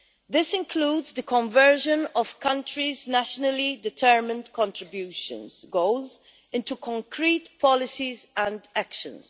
This includes conversion of countries' Nationally Determined Contributions goals into concrete policies and actions.